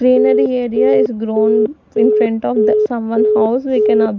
greenary area is grown in front of the someone house we can ob--